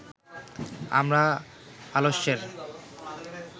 আমরা আলস্যের